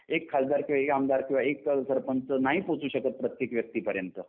एक खासदार किंवा एक आमदार शिवाय एक सरपंच नाही पोहचू शकतं प्रत्येक व्यक्तीपर्यंत